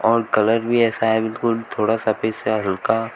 और कलर भी ऐसा है बिल्कुल थोड़ा सा बीच से हल्का--